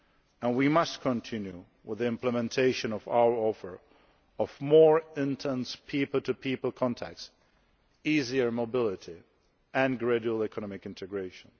And we must continue with the implementation of our offer of more intense people to people contacts, easier mobility and gradual economic integration.